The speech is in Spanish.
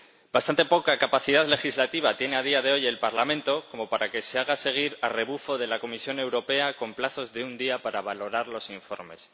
Bastante poca capacidad legislativa tiene a día de hoy el Parlamento como para que se haya de seguir, a rebufo de la Comisión Europea, con plazos de un día para valorar los informes.